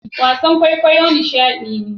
Wasan kwaikwayon kwaikwayo nishadi ne